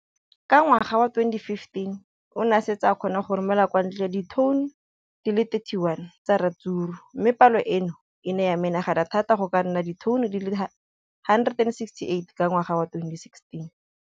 Ka ngwaga wa 2015, o ne a setse a kgona go romela kwa ntle ditone di le 31 tsa ratsuru mme palo eno e ne ya menagana thata go ka nna ditone di le 168 ka ngwaga wa 2016.